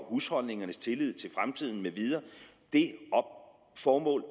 husholdningernes tillid til fremtiden med videre det formål